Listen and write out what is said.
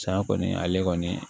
Saya kɔni ale kɔni